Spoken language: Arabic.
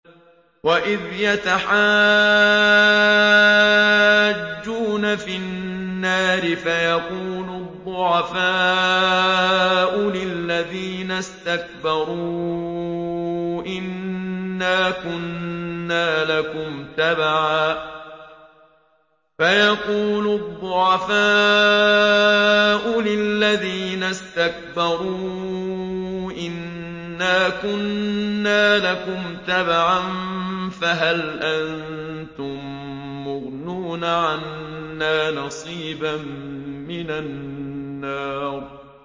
وَإِذْ يَتَحَاجُّونَ فِي النَّارِ فَيَقُولُ الضُّعَفَاءُ لِلَّذِينَ اسْتَكْبَرُوا إِنَّا كُنَّا لَكُمْ تَبَعًا فَهَلْ أَنتُم مُّغْنُونَ عَنَّا نَصِيبًا مِّنَ النَّارِ